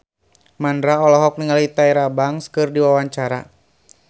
Mandra olohok ningali Tyra Banks keur diwawancara